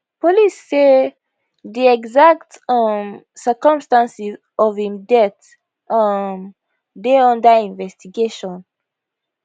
police say di exact um circumstances of im death um dey under investigation